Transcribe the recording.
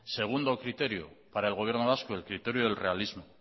segundo criterio para el gobierno vasco el criterio del realismo